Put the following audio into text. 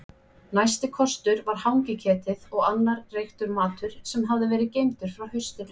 Næsti kostur var hangiketið og annar reyktur matur sem hafði verið geymdur frá haustinu.